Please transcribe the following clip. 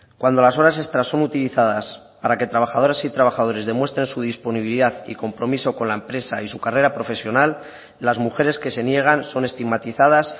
cuando las horas extras son utilizadas para que trabajadoras y trabajadores demuestren su disponibilidad y compromiso con la empresa y su carrera profesional las mujeres que se niegan son estigmatizadas